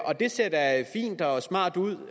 og det ser da fint og smart ud